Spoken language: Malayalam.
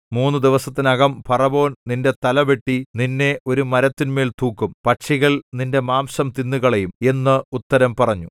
മൂന്നു ദിവസത്തിനകം ഫറവോൻ നിന്റെ തലവെട്ടി നിന്നെ ഒരു മരത്തിന്മേൽ തൂക്കും പക്ഷികൾ നിന്റെ മാംസം തിന്നുകളയും എന്ന് ഉത്തരം പറഞ്ഞു